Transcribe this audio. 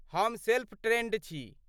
हम self trained छी।